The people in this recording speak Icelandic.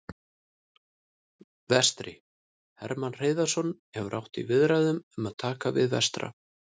Vestri: Hermann Hreiðarsson hefur átt í viðræðum um að taka við Vestra.